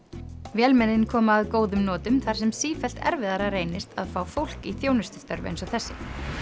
vélmennin koma að góðum notum þar sem sífellt erfiðara reynist að fá fólk í þjónustustörf eins og þessi